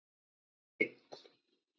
einn